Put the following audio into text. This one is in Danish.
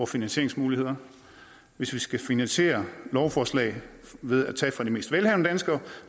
finansieringsmuligheder hvis vi skal finansiere lovforslag ved at tage fra de mest velhavende danskere